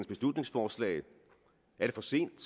beslutningsforslag er det for sent